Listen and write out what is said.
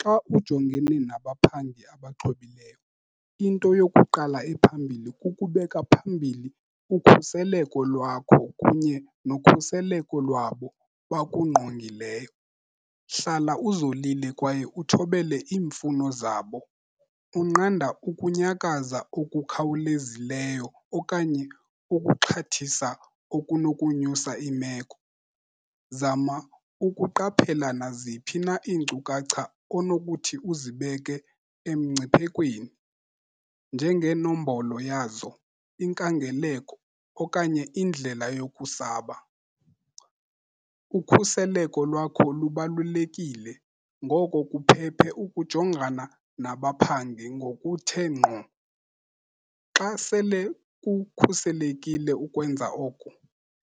Xa ujongene nabaphangi abaxhobileyo, into yokuqala ephambili kukubeka phambili ukhuseleko lwakho kunye nokhuseleko lwabo bakungqongileyo. Hlala uzolile kwaye uthobele iimfuno zabo, unqanda ukunyakaza okukhawulezileyo okanye ukuxhathisa okunokunyusa iimeko. Zama ukuqaphela naziphi na iinkcukacha onokuthi uzibeke emngciphekweni njengeenombolo yazo, inkangeleko okanye indlela yokusaba. Ukhuseleko lwakho lubalulekile, ngoko kuphephe ukujongana nabaphangi ngokuthe ngqo. Xa sele kukhuselekile ukwenza oku,